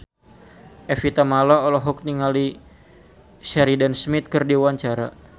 Evie Tamala olohok ningali Sheridan Smith keur diwawancara